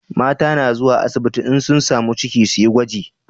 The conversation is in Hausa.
Mata na zuwa asibiti in sun samu ciki suyi gwaji